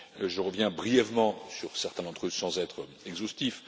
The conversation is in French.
Je reviens brièvement sur certains d'entre eux sans être exhaustif.